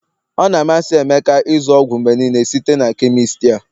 ọ na-amasị emeka ịzụ ọgwụ mgbe niile site na chemist a